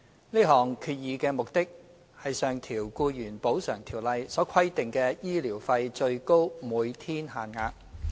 這項決議的目的是上調《僱員補償條例》所規定的醫療費最高每天限額。